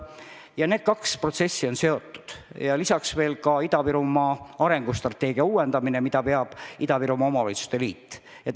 Ja need kaks protsessi on seotud, lisaks veel ka Ida-Virumaa arengustrateegia uuendamine, mida veab Ida-Virumaa Omavalitsuste Liit.